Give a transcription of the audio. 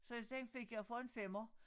Så den fik jeg for en femmer